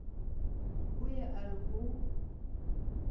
o ye a re o